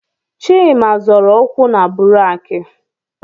Chima zọrọ ụkwụ na buraaki